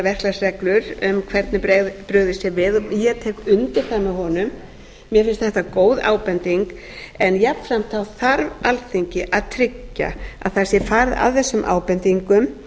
verklagsreglur um hvernig brugðist sé við og ég tek undir það með honum mér finnst þetta góð ábending en jafnframt þarf alþingi að tryggja að það sé farið að þessum ábendingum